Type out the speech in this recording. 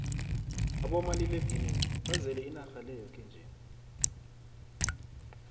abomaliledinini bazele inarha le yoke nje